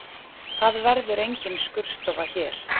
Það verður engin skurðstofa hér